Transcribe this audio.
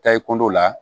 Taa i kundɔ la